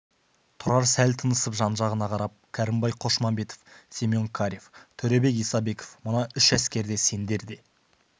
тұрар сәл тыныстап жан-жағына қарап кәрімбай қошмамбетов семен карев төребек исабеков мына үш әскер сендер де